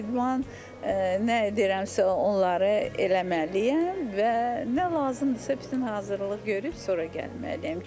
Bütün idman nə deyirəmsə onları eləməliyəm və nə lazımdırsa, bütün hazırlıq görüb sonra gəlməliyəm.